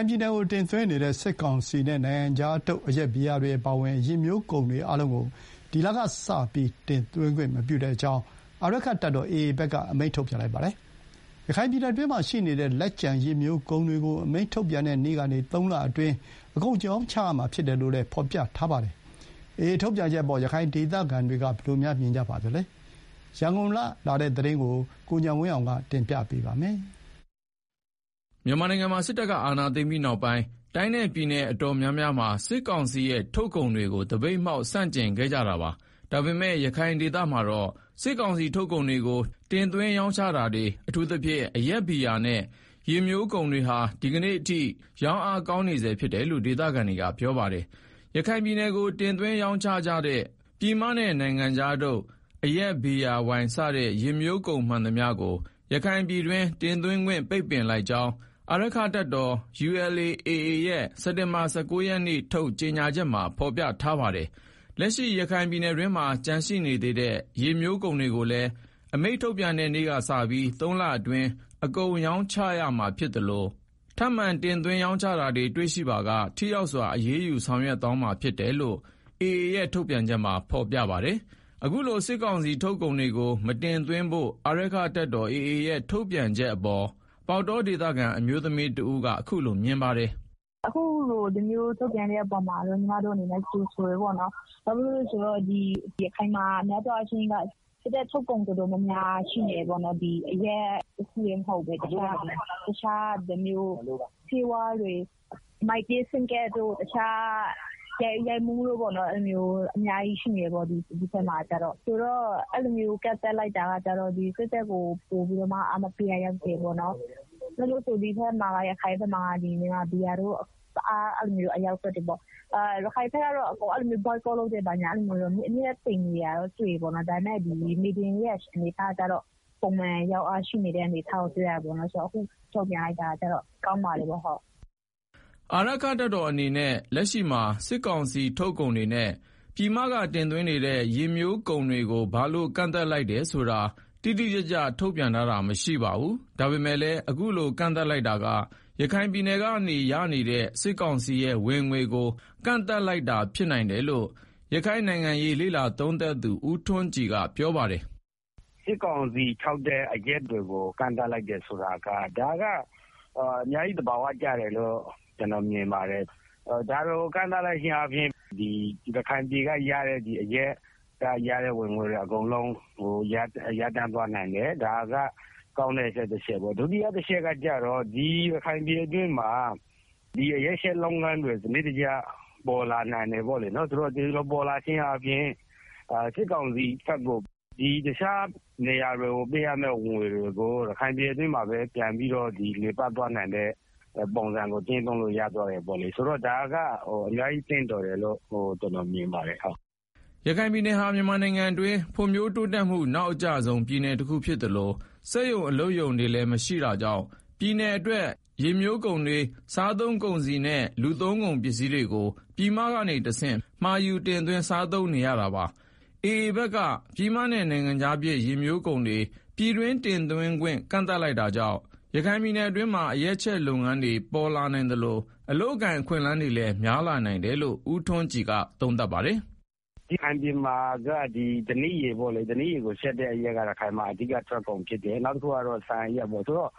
င်ပြည်နယ်ကိုတင်သွင်းနေတဲ့ ယစ်မျိုးကုန်တွေအားလုံးကို ဒီလကစပြီး တင်သွင်းခွင့်မပြုကြောင်း အာရက္ခတပ်တော် AA ဘက်က အမိန့်ထုတ်ပြန်ပါတယ်။ ရခိုင်ပြည်နယ်အတွင်းမှာရှိနေတဲ့ လက်ကျန် ယစ်မျိုးကုန်တွေကိုလည်းအမိန့်ထုတ်ပြန်တဲ့နေ့ကနေ ၃ လအတွင်း အကုန်ရောင်းချရမှာဖြစ်တယ်လို့ ဖော်ပြထားပါတယ်။ AA ထုတ်ပြန်ချက်အပေါ် ရခိုင်ဒေသခံတွေ ဘယ်လိုမြင်ကြပါသလဲ။ ရန်ကုန်က ပေးပို့တဲ့သတင်းကို ကိုဉာဏ်ဝင်းအောင်ကတင်ပြထားပါတယ်။ မြန်မာနိုင်ငံမှာ စစ်တပ်ကအာဏာသိမ်းပြီးနောက်ပိုင်း တိုင်းနဲ့ပြည်နယ်တော်တော်များများမှာ စစ်ကောင်စီထုတ်ကုန်တွေကို သပိတ်မှောက်ဆန့်ကျင်ခဲ့ကြပါတယ်။ ဒါပေမယ့် ရခိုင်ဒေသမှာ စစ်ကောင်စီထုတ်ကုန်တွေကို တင်သွင်းရောင်းချတာတွေ အထူးသဖြင့် အရက်၊ ဘီယာစတဲ့ ယစ်မျိုးကုန်တွေဟာ ဒီကနေ့အထိ ရောင်းအားကောင်းနေဆဲဖြစ်တယ်လို့ ဒေသခံတွေကပြောပါတယ်။ ရခိုင်ပြည်နယ်ကို တင်သွင်းရောင်းချနေကြတဲ့ ပြည်မနဲ့ နိုင်ငံခြားထုတ် အရက်၊ ဘီယာ၊ ဝိုင်စတဲ့ ယစ်မျိုးကုန်မှန်သမျှကိုရခိုင်ပြည်တွင်းကို တင်သွင်းခွင့်ပိတ်လိုက်ကြောင်း အာရက္ခတပ်တော် ULA/AA ရဲ့စက်တင်ဘာလ ၁၉ ရက်နေ့ ထုတ်ပြန်ချက်မှာ ဖော်ပြထားပါတယ်။ လက်ရှိ ရခိုင်ပြည်နယ်အတွင်းမှာကျန်ရှိနေသေးတဲ့ ယစ်မျိုးကုန်တွေကိုလည်း အမိန့်ထုတ်ပြန်တဲ့နေ့ကစပြီး ၃ လအတွင်း အကုန်ရောင်းချရမှာ ဖြစ်သလို ထပ်မံတင်သွင်း ရောင်းချတာတွေ တွေ့ရှိပါက ထိရောက်စွာ အရေးယူဆောင်ရွက်သွားမှာဖြစ်တယ်လို့လည်း AA ထုတ်ပြန်ချက်မှာ ဖော်ပြပါတယ်။ အခုလို စစ်ကောင်စီထုတ်ကုန်တွေကို မတင်သွင်းဖို့ အာရက္ခတပ်တော် AA ရဲ့ ထုတ်ပြန်ချက်အပေါ် ပေါက်တောဒေသခံ အမျိုးသမီးတဦးက အခုလိုပြောပါတယ်။ “အခုလို ဒီလိုမျိုးထုတ်ပြန်တဲ့အပေါ်မှာတော့ ညီမတို့က ကြိုဆိုတယ်ပေါ့နော်၊ ဘာဖြစ်လို့လဲဆိုတော့ ရခိုင်မှာက စစ်တပ်ထုတ်ကုန် တော်တော် များများရှိနေတာပေါ့နော်၊ အရက်တခုတည်းမဟုတ်ဘဲနဲ့ တခြား မိုင်တေးဖုန်းကဒ်တွေလို အများကြီးရှိတယ်။ ဆိုတော့ အဲလိုမျိုး ကန့်သတ် လိုက်တာက စစ်တပ်ကိုပိုပြီးတော့ အားမပေးရာရောက်တယ်။ ရခိုင်ဘက်မှာက မြန်မာဘီယာတို့ တအားအရောင်းသွတ်တယ်။ စစ်တပ်ထုတ် ကုန်တွေကို Boycott လုပ်တာတို့ သိမ်မရှိဘူး၊ အမြဲတမ်းတင်သွင်းနေတာတွေ့တယ်။ မြေပြင်မှာလည်း ပုံမှန်ရောင်းအားရှိနေတာတွေ့ရတယ်။ ဆိုတော့ အခုလို ထုတ်ပြန်လိုက်တာကောင်းပါတယ်။” အာရက္ခတပ်တော်အနေနဲ့ လက်ရှိမှာ စစ်ကောင်စီထုတ်ကုန်တွေနဲ့ ပြည်မကတင်သွင်းနေတဲ့ ယစ်မျိုးကုန်တွေကို ဘာလို့ကန့်သတ်လိုက်တယ် ဆိုတာ တိတိကျကျ ထုတ်ပြန်ထားတာမရှိပါဘူး။ ဒါပေမယ့်လည်း အခုလို ကန့်သတ်လိုက်တာကရခိုင်ပြည်နယ်က ရနေတဲ့စစ်ကောင်စီရဲ့ ဝင်ငွေကို ကန့်သတ်လိုက်တာဖြစ်တယ်လို့လည်း ရခိုင်နိုင်ငံရေးလေ့လာသုံးသပ်သူ ဦးထွန်းကြည်က ပြောပါတယ်။ “စစ်ကောင်စီထုတ်တဲ့အရက်တွေ အထူးသဖြင့် ပြည်မဘက်က တင်သွင်းတဲ့အရက်တွေကို ကန့်သတ်လိုက်တယ်ဆိုတာက အများကြီး သဘာဝကျတယ်လို့ ကျနော်မြင်ပါတယ်။ ဆိုတော့ ဒါတွေကို ကန့်သတ်လိုက်ခြင်းအားဖြင့် ပထမတချက်အနေနဲ့ စစ်ကောင်စီရဲ့ ရခိုင်ပြည်နယ်က ရတဲ့ အရက်ကရတဲ့ ဝင်ငွေတွေ အကုန်လုံး ရပ်တန့်သွားမယ်၊ ရန်သူရဲ့ထုတ်ကုန်ကို အားမပေးဖို့ လုပ်တဲ့ဟာ တခုပဲပေါ့နော်၊ နောက်တချက်ကတော့ ဒီရခိုင်ပြည်နယ်အတွင်းမှာ အရက်ချက်လုပ်ငန်းတွေ စနစ်တကျပေါ်လာနိုင်တယ်ပေါ့လေ ဆိုတော့ ဒီလိုပေါ်လာခြင်း အားဖြင့် စစ်ကောင်စီဘက်ကို ပေးရမယ့်တခြားနေရာတွေကိုပေးရမယ့် ဝင်ငွေတွေကို ဒီရခိုင်ပြည်နယ်အတွင်းမှာပဲ လည်ပတ်သွားနိုင်မယ့် ပုံစံကို ကျင့်သုံးလို့ရမယ်၊ ဆိုတော့ ဒါက အများကြီးသင့်တော်တယ်လို့ ကျနော်မြင်ပါတယ်။” ရခိုင်ပြည်နယ်ဟာ မြန်မာနိုင်ငံအတွင်း ဖွံ့ဖြိုးတိုးတက်မှု နောက်အကျဆုံးပြည်နယ်တခုဖြစ်သလို စက်ရုံအလုပ်ရုံတွေလည်းမရှိတာကြောင့် ပြည်နယ်အတွက် ယစ်မျိုးကုန်တွေ၊ စားသုံးကုန်စည်တွေနဲ့ လူသုံးကုန်ပစ္စည်းတွေကို ပြည်မကနေကတဆင့် မှာယူစားသုံးနေရပါတယ်။ AA ဘက်က ပြည်မနဲ့ နိုင်ငံခြားဖြစ် ယစ်မျိုးကုန်တွေ ပြည်တွင်း တင်သွင်းခွင့် ကန့်သတ်လိုက်တာကြောင့် ရခိုင်ပြည်နယ်အတွင်းမှာ အရက်ချက်လုပ်ငန်းတွေ ပေါ်လာနိုင် သလို အလုပ်အကိုင်အခွင့်အလမ်းတွေလည်း များလာနိုင်တယ်လို့ ဦးထွန်းကြည်က ပြောပါတယ်။ “ဓနိရည်ကိုချက်တဲ့အရက်က ရခိုင်ပြည်နယ်မှာ အဓိက ထွက်ကုန်ဖြစ်တယ်။ နောက်တခုကတော့ ဆန်အရက်ပေါ့။ ဆိုတော့